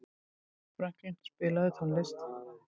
Franklín, spilaðu tónlist.